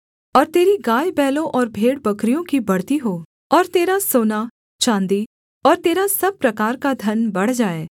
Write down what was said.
और तेरी गायबैलों और भेड़बकरियों की बढ़ती हो और तेरा सोना चाँदी और तेरा सब प्रकार का धन बढ़ जाए